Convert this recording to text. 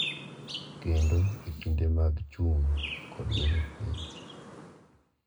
Kendo e kinde mag chung’ kod bedo piny.